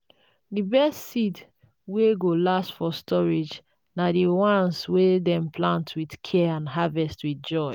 um the best seeds wey go last for storage na the ones wey dem plant with care and harvest with joy.